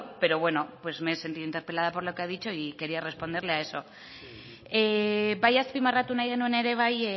pero bueno me he sentido interpelada por lo que ha dicho y quería responderle a eso bai azpimarratu nahi genuen ere bai